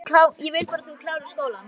Ég vil bara að þú klárir skólann